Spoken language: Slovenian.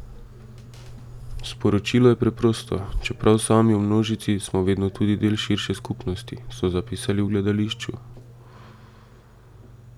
Sporočilo je preprosto: "Čeprav sami v množici, smo vedno tudi del širše skupnosti," so zapisali v gledališču.